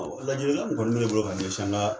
Lajilikan min kɔni mɛ n bolo k'a ɲɛsin an ka